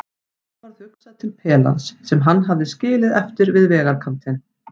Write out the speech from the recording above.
Honum varð hugsað til pelans sem hann hafði skilið eftir við vegarkantinn.